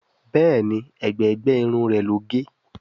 Béèni ègbé gbé Irun rẹ ló gé.